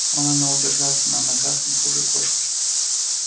он умел держаться на ногах не хуже кошки